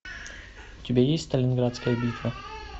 у тебя есть сталинградская битва